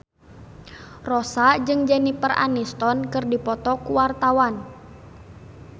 Rossa jeung Jennifer Aniston keur dipoto ku wartawan